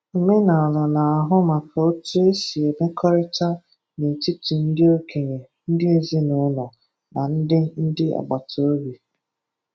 Omenala na-ahụ maka otu e si emekọrịta na etiti ndi okenye, ndi ezinụlọ, na ndi ndi agbata obi.